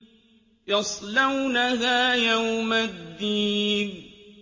يَصْلَوْنَهَا يَوْمَ الدِّينِ